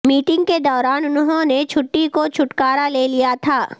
meeting کے دوران انہوں نے چھٹی کو چھٹکارا لے لیا تھا